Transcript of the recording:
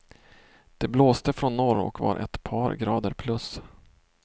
Det blåste från norr och var ett par grader plus.